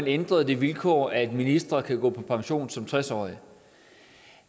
ændret det vilkår at ministre kan gå på pension som tres årige